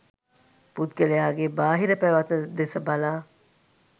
පුද්ගලයාගේ බාහිර පැවැත්ම දෙස බලා